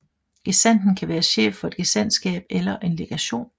Gesandten kan være chef for et gesandtskab eller en legation